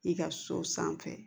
I ka so sanfɛ